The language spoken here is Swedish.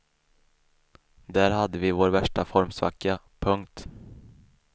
Där hade vi vår värsta formsvacka. punkt